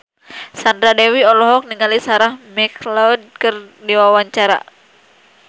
Sandra Dewi olohok ningali Sarah McLeod keur diwawancara